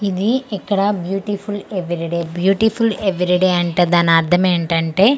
ఇది ఇక్కడ beautiful every day beautiful every day అంటే దానర్థం ఏంటంటే--